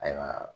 Ayiwa